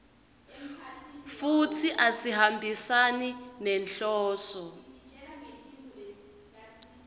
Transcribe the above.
futsi asihambisani nenhloso